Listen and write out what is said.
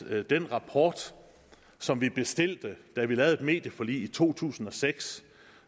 at den rapport som vi bestilte da vi lavede et medieforlig i to tusind og seks